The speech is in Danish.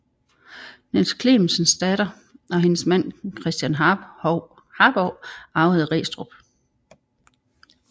Niels Clementsens datter og hendes mand Christen Harbou arvede Restrup